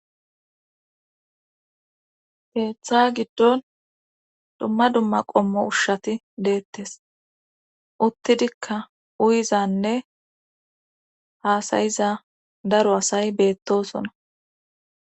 Teeththa giddon dumma dumma qommo ushshati deettes uttidikka uyizanne haasayiza daro asay beettosona.